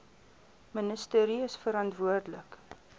ministerie is verantwoordelik